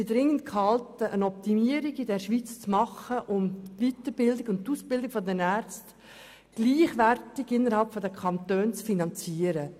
Wir sind dringend gehalten, dies in der Schweiz zu optimieren und die Aus- und Weiterbildung der Ärzte innerhalb der Kantone gleichwertig zu finanzieren.